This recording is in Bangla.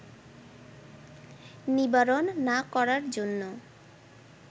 নিবারণ না করার জন্য